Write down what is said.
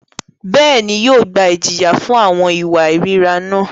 Bẹ́ẹ̀ni, yóò gba ijiya fun awọn iwa irira náà.